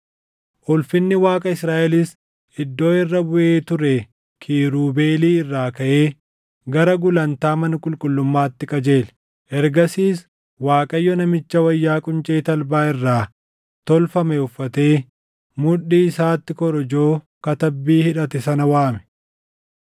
Ulfinni Waaqa Israaʼelis iddoo irra buʼee ture kiirubeelii irraa kaʼee gara gulantaa mana qulqullummaatti qajeele. Ergasiis Waaqayyo namicha wayyaa quncee talbaa irraa tolfame uffatee mudhii isaatti korojoo katabbii hidhate sana waame;